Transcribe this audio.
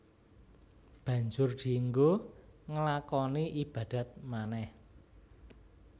Banjur dienggo nglakoni ibadat manèh